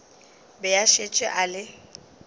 be a šetše a le